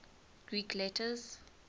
greek letters